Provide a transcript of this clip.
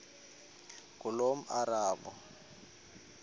ngulomarabu